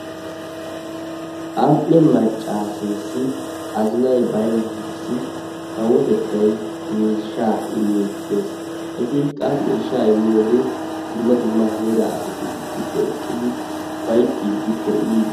Am"e maccaaseessi azinay bayinnaarissi kawotettay miishshaa immiiddi dees. Eti qa miishshaa immiyoode dumma dumma heeraa asati issippe eqqidi ufayittiiddi be"i..